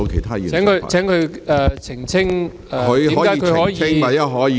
請郭議員澄清，為何他可以......